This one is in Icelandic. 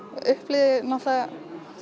upplifði náttúrulega